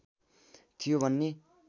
थियो भन्ने